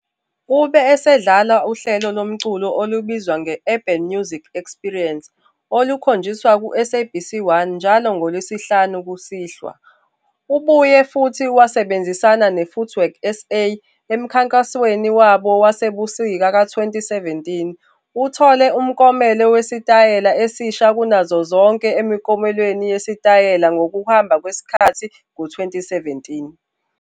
Ube esedlala uhlelo lomculo olubizwa nge-Urban Music Experience olukhonjiswa kuSABC 1 njalo ngoLwesihlanu kusihlwa. Ubuye futhi wasebenzisana neFootwork SA emkhankasweni wabo wasebusika ka-2017. Uthole umklomelo wesitayela esisha kunazo zonke emiklomelweni yeSitayela ngokuhamba kwesikhathi ngo-2017.